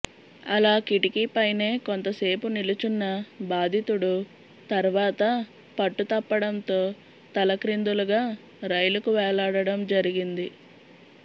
అలా కిటికీ పైనే కొంతసేపు నిలుచున్న బాధితుడు తర్వాత పట్టుతప్పడంతో తలక్రిందులుగా రైలుకు వేలాడడం జరిగింది